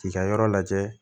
K'i ka yɔrɔ lajɛ